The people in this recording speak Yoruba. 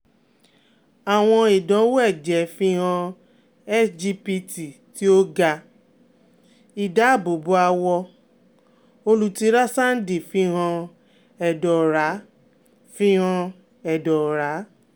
Awọn idanwo ẹjẹ fihan sgpt ti o ga, idaabobo awọ, olutirasandi fihan ẹdọ ọra fihan ẹdọ ọra